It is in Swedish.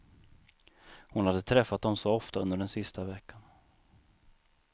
Hon hade träffat dem så ofta under den sista veckan.